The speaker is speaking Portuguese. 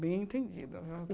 Bem entendido.